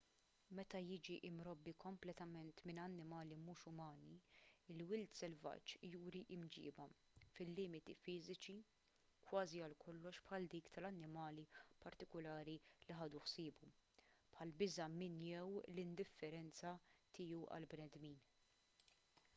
meta jiġi mrobbi kompletament minn annimali mhux umani il-wild selvaġġ juri mġiba fil-limiti fiżiċi kważi għal kollox bħal dik tal-annimali partikulari li ħadu ħsiebu bħall-biża' minn jew l-indifferenza tiegħu għall-bnedmin